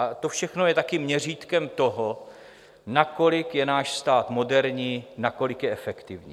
A to všechno je také měřítkem toho, nakolik je náš stát moderní, nakolik je efektivní.